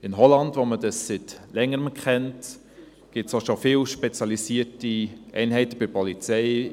In Holland, wo man dies seit Längerem kennt, gibt es schon viele spezialisierte Einheiten bei der Polizei.